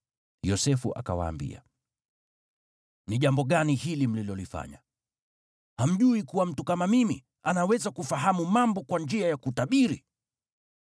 Yosefu akawaambia, “Ni jambo gani hili mlilolifanya? Hamjui kuwa mtu kama mimi anaweza kufahamu mambo kwa njia ya kutabiri?”